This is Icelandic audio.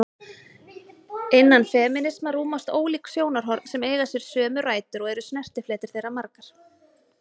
Innan femínisma rúmast ólík sjónarhorn sem eiga sér sömu rætur og eru snertifletir þeirra margir.